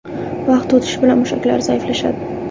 Vaqt o‘tishi bilan mushaklar zaiflashadi.